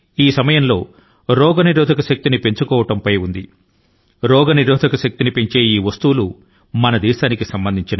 వ్యాధినిరోధక శక్తి ని పెంచుకోవడంపై యావత్తు ప్రపంచం దృష్టి ని సారించింది